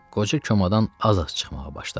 Qoca komadan az-az çıxmağa başladı.